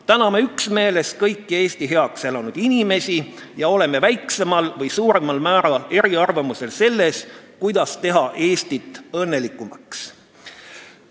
Täname üksmeeles kõiki Eesti heaks elanud inimesi ja oleme väiksemal või suuremal määral eriarvamusel selles, kuidas teha Eestit õnnelikumaks.